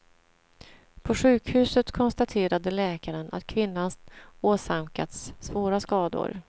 På sjukhuset konstaterade läkaren att kvinnan åsamkats svåra skador.